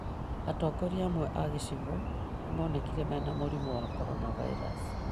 Atongoria amwe a gĩcigo nĩmonekire mena mũrimũ wa coronavirus